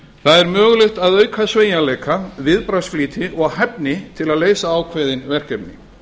það er mögulegt að auka sveigjanleika viðbragðsflýti og hæfni til að leysa ákveðin verkefni